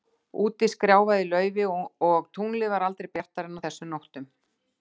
Úti skrjáfaði í laufi, og tunglið var aldrei bjartara en á þessum nóttum.